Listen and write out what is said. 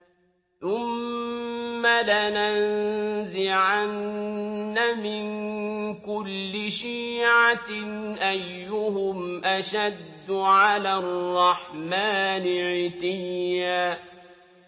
ثُمَّ لَنَنزِعَنَّ مِن كُلِّ شِيعَةٍ أَيُّهُمْ أَشَدُّ عَلَى الرَّحْمَٰنِ عِتِيًّا